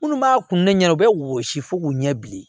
Minnu b'a kun ne ɲɛna u bɛ wɔsi fo k'u ɲɛ bilen